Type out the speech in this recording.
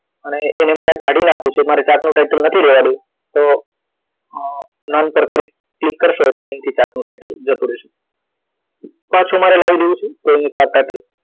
અને એને મારે કાઢી નાખવું છે મારે chart નું title નથી રેવ દેવું તો અ નામ પર ક્લિક કરશો એટલે અહીથી chart નું title જતું રહેશે પાછું મારે લાવી દેવું છે તો અહિયાં chart title